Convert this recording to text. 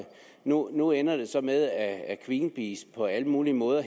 nu ender det så med at greenpeace på alle mulige måder